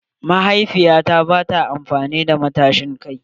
Mahaifiya ta bata son amfani da matashin kai.